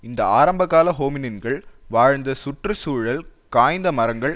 இந்த ஆரம்ப கால ஹோமினின்கள் வாழ்ந்த சுற்று சூழல் காய்ந்த மரங்கள்